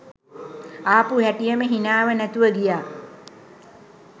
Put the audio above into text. ආපු හැටියෙම හිනාව නැතුව ගියා.